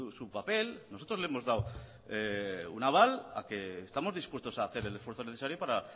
su papel nosotros le hemos dado un aval a que estamos dispuestos a hacer el esfuerzo necesario para